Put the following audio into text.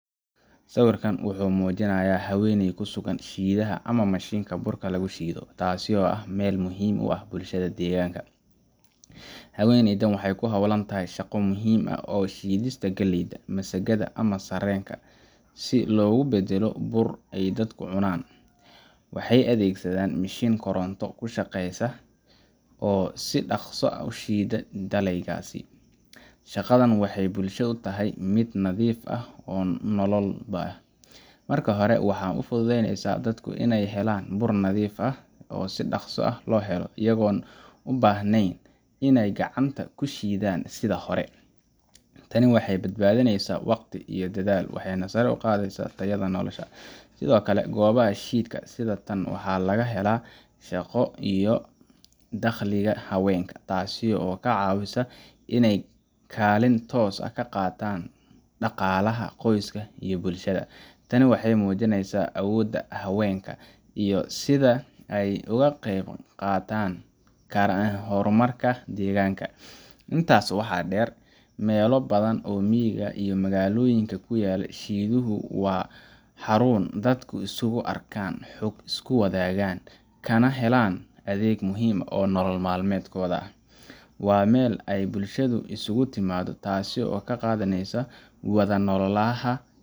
Sawirkan wuxuu muujinayaa haweeney ku sugan shiidaha ama mishiinka burka lagu shiido, taasoo ah meel muhiim u ah bulshada deegaanka. Haweeneydan waxay ku hawlan tahay shaqo muhiim ah oo ah shiidista galleyda, masagada, ama sarreenka, si loogu beddelo bur ay dadku cunaan. Waxay adeegsanaysaa mishiin koronto ku shaqeeya oo si dhaqso ah u shiidaya dalagyadaas. Shaqadan waxay bulshada u tahay mid naf iyo nololba u ah. Marka hore, waxay u fududaynaysaa dadka inay helaan bur nadiif ah oo si dhakhso ah loo helo, iyagoon u baahnayn inay gacanta ku shiidaan sida hore. Tani waxay badbaadineysaa waqti iyo dadaal, waxayna sare u qaadaysaa tayada nolosha. Sidoo kale, goobaha shiidka sida tan waxaa laga helaa shaqo iyo dakhliga haweenka, taasoo ka caawisa inay kaalin toos ah ka qaataan dhaqaalaha qoyska iyo bulshada. Tani waxay muujinaysaa awoodda haweenka iyo sida ay uga qeyb qaadan karaan horumarka deegaanka. Intaa waxaa dheer, meelo badan oo miyiga iyo magaalooyinka ku yaal, shiiduhu waa xarun dadku isku arkaan, xog iskula wadaagaan, kana helaan adeeg muhiim u ah nolol maalmeedkooda. Waa meel ay bulshadu isugu timaaddo, taasoo sare u qaadaysa wada noolaaha.